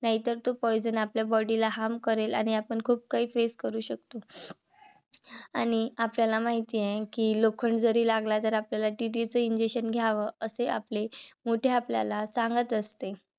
नाहीतर तो poison आपल्या body ला harm करेल आणि आपण खूप काही face करू शकतो. आणि आपल्याला माहिती आहे कि लोखंड जरी लागला जर आपल्याला TT च injection घ्याव असे आपले मोठे आपल्याला सांगत असते.